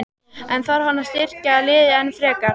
En þarf hann að styrkja liðið enn frekar?